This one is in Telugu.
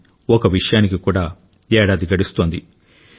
కానీ ఒక విషయానికి కూడా ఏడాది గడుస్తోంది